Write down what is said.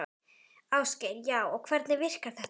Ásgeir: Já, og hvernig virkar þetta?